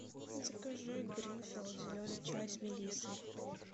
закажи гринфилд зеленый чай с мелиссой